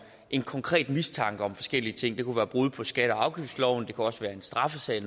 en konkret mistanke om forskellige ting det kunne være brud på skatte og afgiftsloven og det kunne også være en straffesag